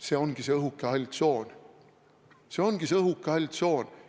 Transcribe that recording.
See ongi see õhuke hall tsoon.